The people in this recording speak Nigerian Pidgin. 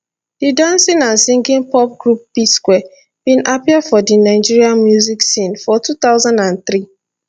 di dancing and singing pop group psquare bin appear for di nigeria music scene for 2003